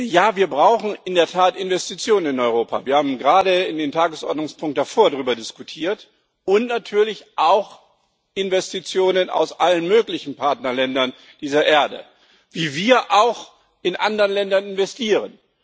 Ja, wir brauchen in der Tat Investitionen in Europa wir haben gerade in dem Tagesordnungspunkt davor darüber diskutiert und natürlich auch Investitionen aus allen möglichen Partnerländern dieser Erde wie wir auch in anderen Ländern investieren.